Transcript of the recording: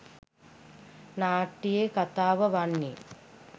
නාට්‍යයේ කථාව වන්නේ